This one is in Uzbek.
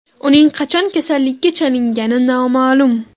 Uning qachon kasallikka chalingani noma’lum.